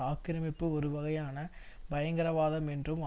ஆக்கிரமிப்பு ஒருவகையான பயங்கரவாதம் என்றும்